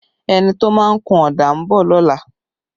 A painter is coming tomorrow